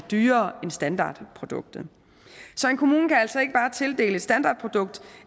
dyrere end standardproduktet så en kommune kan altså ikke bare tildele et standardprodukt